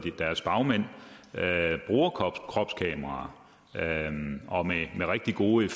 deres bagmænd bruger kropskameraer med rigtig gode